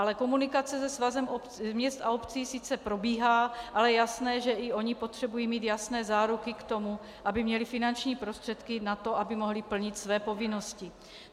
Ale komunikace se Svazem měst a obcí sice probíhá, ale je jasné, že i ony potřebují mít jasné záruky k tomu, aby měly finanční prostředky na to, aby mohly plnit své povinnosti.